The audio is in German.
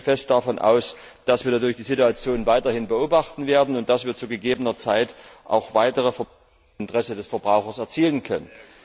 Ich gehe außerdem fest davon aus, dass wir dadurch die Situation weiterhin beobachten werden und dass wir zu gegebener Zeit auch weitere Fortschritte im Interesse des Verbrauchers erzielen können.